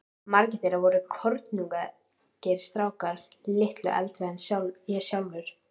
Margir þeirra voru kornungir strákar, litlu eldri en ég sjálfur.